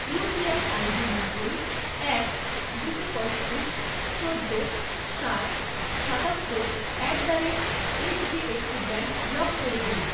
UPI ID নব্বই, এক, দুশো পঁয়ত্রিশ, চোদ্দো, সাত, সাতাত্তর at the rate HDFC bank block করে দিন